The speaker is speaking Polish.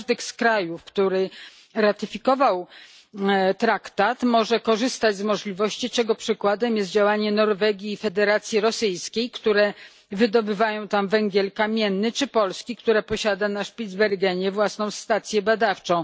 Każdy z krajów, który ratyfikował traktat, może korzystać z możliwości, czego przykładem jest działanie Norwegii i Federacji Rosyjskiej, które wydobywają tam węgiel kamienny, czy Polski, która posiada na Spitsbergenie własną stację badawczą.